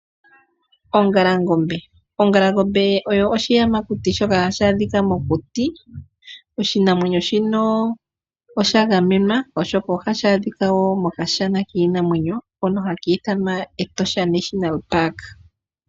Ongalangombe, ongalangombe oyo oshiyamakuti shoka hashi adhika mokuti. Oshinamwenyo shino osha gamenwa oshoka ohashi adhika wo mokashana kiinamwenyo. Hoka haka ithanwa Etosha National Park.